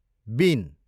been